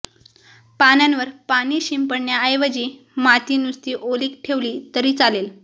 पानांवर पाणी शिंपडण्याऐवजी माती नुसती ओली ठेवली तरी चालेल